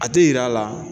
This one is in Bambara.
A tɛ yira a la